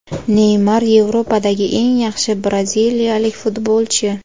Neymar – Yevropadagi eng yaxshi braziliyalik futbolchi.